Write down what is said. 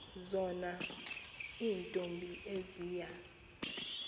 zona iintombi eziya